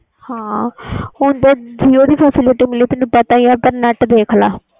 ਹੁਣ ਤੇ jio ਦੀ facility ਮਿਲੀ but net ਦੇਖ ਲੈ